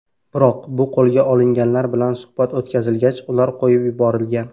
Biroq, qo‘lga olinganlar bilan suhbat o‘tkazilgach, ular qo‘yib yuborilgan.